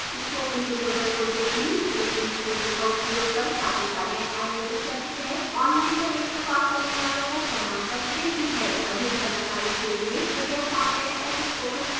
spoken tutorial project teamspoken tutorial का उपयोग कर कार्यशालाएं आयोजित करती है online परीक्षा पास करने वालों को प्रमाण पत्र देती है अधिक जानकारी के लिए कृपयाcontact @spokentutorial org पर लिखें